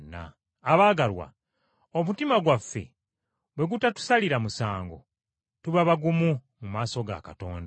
Abaagalwa, omutima gwaffe bwe gutatusalira musango, tuba bagumu mu maaso ga Katonda.